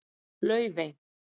Laufey